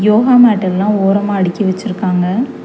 Yoga mat எல்லா ஓரமா அடிக்கி வெச்சிருக்காங்க.